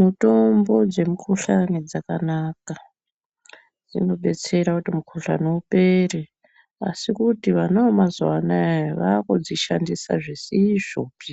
Mutombo dzemukhuhlani dzakanaka. Dzinobetsera kuti mukhuhlani upere, asi kuti vana vemazuwa anaya vaakudzishandisa zvisizvopi.